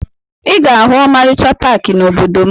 Ị ga-ahụ ọmarịcha paakị n'obodo m